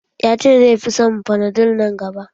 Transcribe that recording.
Ya ce zai fi son fanadol nan gaba.